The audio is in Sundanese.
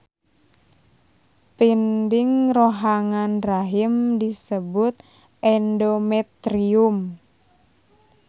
Pinding rohangan rahim disebut endometrium.